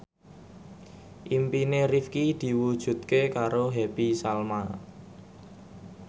impine Rifqi diwujudke karo Happy Salma